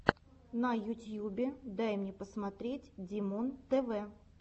на ютьюбе дай мне посмотреть димонтв